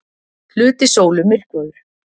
Hluti sólu myrkvaður